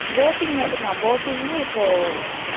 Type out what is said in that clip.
boating மட்டும்தான் boating ன இப்போ